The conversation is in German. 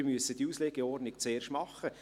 Wir müssen diese Auslegeordnung zuerst machen.